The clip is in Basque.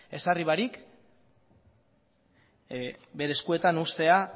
ezarri barik bere eskuetan uztea